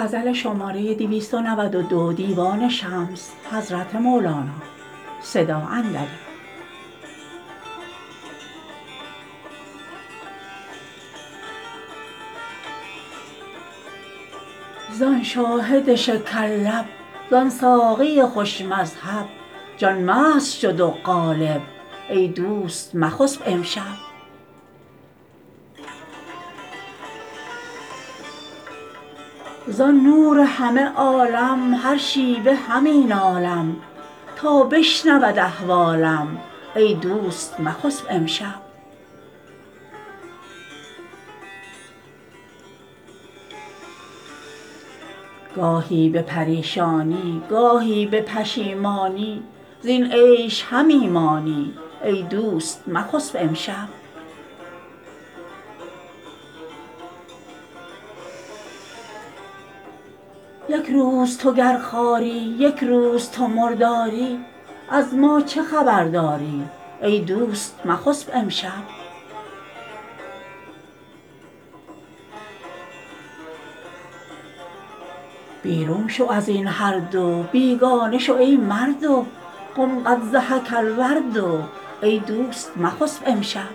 زان شاهد شکرلب زان ساقی خوش مذهب جان مست شد و قالب ای دوست مخسب امشب زان نور همه عالم هر شیوه همی نالم تا بشنود احوالم ای دوست مخسب امشب گاهی به پریشانی گاهی به پشیمانی زین عیش همی مانی ای دوست مخسب امشب یک روز تو گر خواری یک روز تو مرداری از ما چه خبر داری ای دوست مخسب امشب بیرون شو از این هر دو بیگانه شو ای مردو قم قد ضحک الورد ای دوست مخسب امشب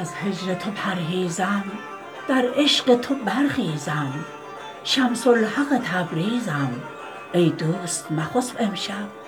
از هجر تو پرهیزم در عشق تو برخیزم شمس الحق تبریزم ای دوست مخسب امشب